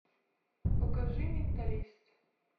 покажи менталист